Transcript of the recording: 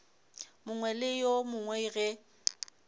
mongwe le yo mongwe ge